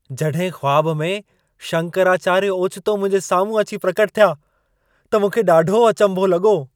जॾहिं ख़्वाबु में शंकराचार्य ओचितो मुंहिंजे साम्हूं अची प्रकटु थिया, त मूंखे ॾाढो अचंभो लॻो।